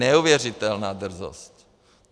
Neuvěřitelná drzost!